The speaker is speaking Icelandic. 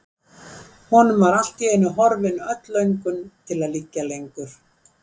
Honum var allt í einu horfin öll löngun til að liggja lengur.